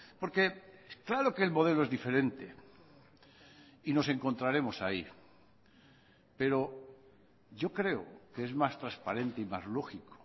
porque claro que el modelo es diferente y nos encontraremos ahí pero yo creo que es más transparente y más lógico